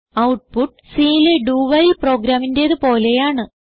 output Cലെ doവൈൽ പ്രോഗ്രാമിന്റേത് പോലെയാണ്